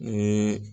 Ni